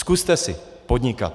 Zkuste si podnikat.